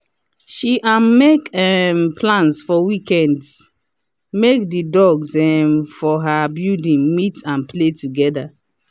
she um make um plans for weekend make the dogs um for her building meet and play together.